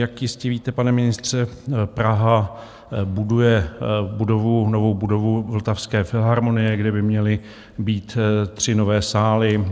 Jak jistě víte, pane ministře, Praha buduje budovu, novou budovu Vltavské filharmonie, kde by měly být tři nové sály.